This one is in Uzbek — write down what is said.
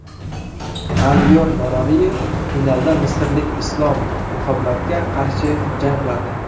Aliyor Noraliyev finalda misrlik Islom Muhammadga qarshi jang qiladi.